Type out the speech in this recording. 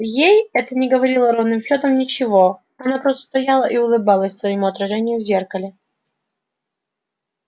ей это не говорило ровным счётом ничего она просто стояла и улыбалась своему отражению в зеркале